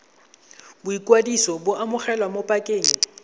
boikwadiso bo amogelwa mo pakeng